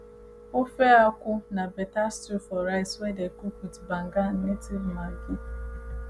ofe akwu na better stew for rice wey dey cook with banga native maggi